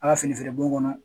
A ka fini feere bon kɔnɔ